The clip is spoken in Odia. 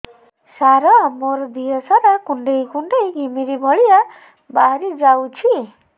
ସାର ମୋର ଦିହ ସାରା କୁଣ୍ଡେଇ କୁଣ୍ଡେଇ ଘିମିରି ଭଳିଆ ବାହାରି ଯାଉଛି